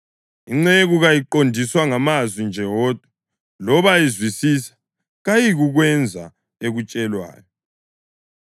Inceku kayiqondiswa ngamazwi nje wodwa, loba izwisisa kayiyikukwenza ekutshelwayo.